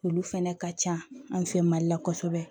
Olu fɛnɛ ka ca anw fɛ mali la kosɛbɛ